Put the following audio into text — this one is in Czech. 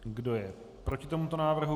Kdo je proti tomuto návrhu?